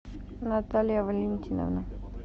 наталья валентиновна